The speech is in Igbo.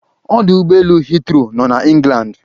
Odụ ụgbọ elu heathrow nọ na Englandi